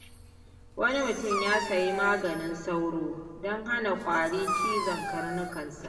Wani mutum ya sayi maganin sauro don hana kwari cizon karnukansa.